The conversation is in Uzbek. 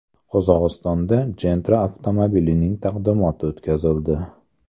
Qozog‘istonda Gentra avtomobilining taqdimoti o‘tkazildi.